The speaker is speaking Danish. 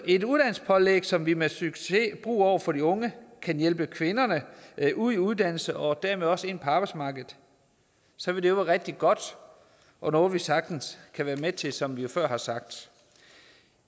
et uddannelsespålæg som vi med succes bruger over for de unge kan hjælpe kvinderne ud i uddannelse og dermed også ind på arbejdsmarkedet så vil det være rigtig godt og noget vi sagtens kan være med til som vi jo før har sagt